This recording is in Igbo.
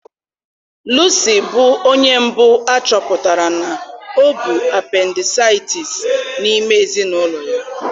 Luci bụ onye mbụ a chọpụtara na ọ bụ apendisaịtịs n'ime ezinụlọ ya